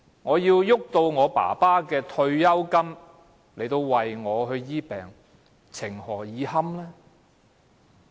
我要動用父親的退休金為自己治病，情何以堪？